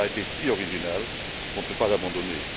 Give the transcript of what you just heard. Il a été si original qu'on ne peut pas l'abandonner.